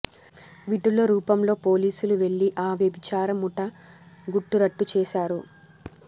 విటుల రూపంలో పోలీసులు వెళ్లి ఆ వ్యభిచార ముఠా గుట్టు రట్టు చేశారు